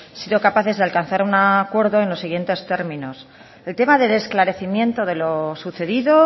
sido capaces de alcanzar un acuerdo en los siguientes términos el tema del esclarecimiento de lo sucedido